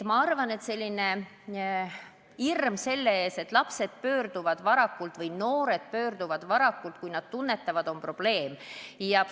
Ma arvan, et hirm selle ees, et lapsed või noored pöörduvad varakult spetsialisti poole, kui nad tunnevad, et neil on probleem, on asjatu.